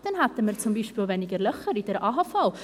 Dann hätten wir zum Beispiel auch weniger Löcher in der AHV.